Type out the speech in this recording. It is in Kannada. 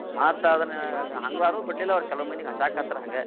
ಮತ್ತದ್ನ ಹಂಗಾರೂ ಬಿಡ್ಲಿಲ ಅವ್ರ ಕೆಲ್ವ್ ಮಂದಿಗ್ ಹಚ್ಚಾಕತ್ರ ಹಂಗ.